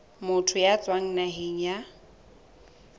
motho ya tswang naheng ya